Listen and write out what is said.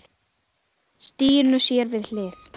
Stínu sér við hlið.